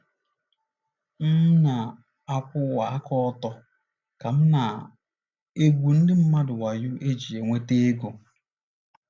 M ̀ na - akwụwa aka ọtọ ka m ̀ na - egwu ndị mmadụ wayo iji nweta ego?